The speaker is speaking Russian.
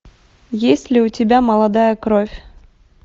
есть ли у тебя молодая кровь